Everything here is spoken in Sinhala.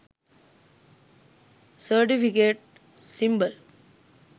certificate symbol